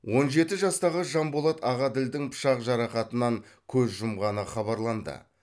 он жеті жастағы жанболат ағаділдің пышақ жарақатынан көз жұмғаны хабарланды